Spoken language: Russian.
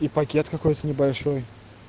и пакет какой то небольшой